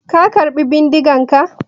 Ka karɓo bindigarka?